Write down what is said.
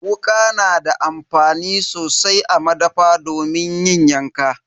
Wuka na da amfani sosai a madafa domin yanka.